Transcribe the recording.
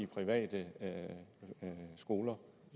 private skoler